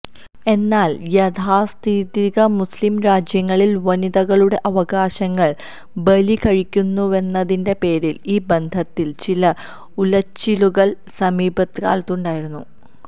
എന്നാൽ യാഥാസ്ഥിതിക മുസ്ലിം രാജ്യങ്ങളിൽ വനിതകളുടെ അവകാശങ്ങൾ ബലികഴിക്കുന്നുവെന്നതിന്റെ പേരിൽ ഈ ബന്ധത്തിൽ ചില ഉലച്ചിലുകൾ സമീപകാലത്തുണ്ടായിരുന്നു